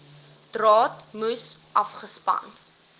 draad moes afgespan